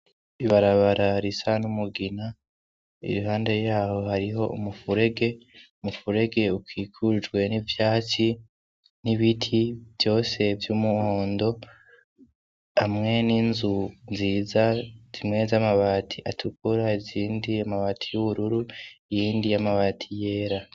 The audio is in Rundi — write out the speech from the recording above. Ibarabara risa n'umugina, iruhande yaho hariho umufurege, umufurege ukikujwe n'ivyatsi n'ibiti vyose vy'umuhondo, hamwe n'inzu nziza zimwe z'amabati atukura izindi amabati y'ubururu iyindi y'amabati yera.